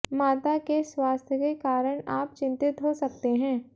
माता के स्वास्थ्य के कारण आप चिंतित हो सकते हैं